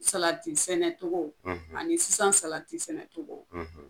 Salati sɛnɛ cogo ani sisan salati sɛnɛ cogo